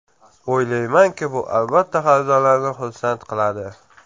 O‘ylaymanki, bu albatta xaridorlarni xursand qiladi.